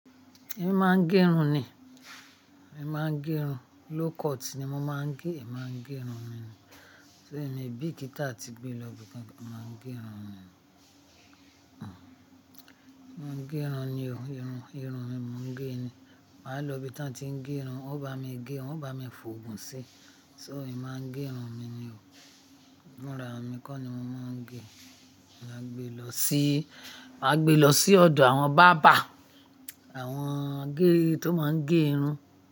Èmi máa ń gẹ irun ni. Èmi máa ń gẹ irun. Low cut ni mo máa ń gẹ máa ń gẹ irun mi ni. So, èmi bíkíta ti gbé lọ ibi kan máa ń gẹ irun mi ni. Máa ń gẹ irun ni o, irun, irun mi mo ń gẹ ni. Màá lọ ibi tá ń ti ń gẹ irun, wọ́n bá mi gẹ, wọ́n bá mi fògùn sí. So èmi máa ń gẹ irun mi ni o. Ìmúra mi kọ́ ni mo máa ń gẹ. Máa gbe lọ sí, máa gbe lọ sí ọ̀dọ̀ àwọn barber, àwọn gé-- tó máa ń gẹ irun.